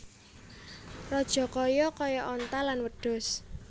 Rajakaya kaya onta lan wedhus